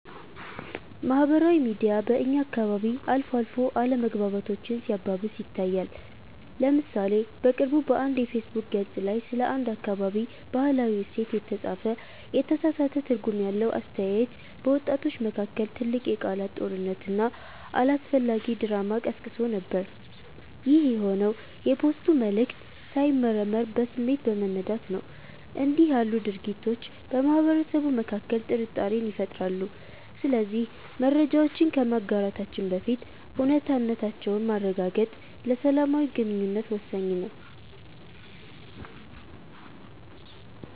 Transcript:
ማህበራዊ ሚዲያ በእኛ አካባቢ አልፎ አልፎ አለመግባባቶችን ሲያባብስ ይታያል። ለምሳሌ በቅርቡ በአንድ የፌስቡክ ገፅ ላይ ስለ አንድ አካባቢ "ባህላዊ እሴት" የተጻፈ የተሳሳተ ትርጉም ያለው አስተያየት፣ በወጣቶች መካከል ትልቅ የቃላት ጦርነትና አላስፈላጊ ድራማ ቀስቅሶ ነበር። ይህ የሆነው የፖስቱ መልዕክት ሳይመረመር በስሜት በመነዳት ነው። እንዲህ ያሉ ድርጊቶች በማህበረሰቡ መካከል ጥርጣሬን ይፈጥራሉ። ስለዚህ መረጃዎችን ከማጋራታችን በፊት እውነታነታቸውን ማረጋገጥ ለሰላማዊ ግንኙነት ወሳኝ ነው።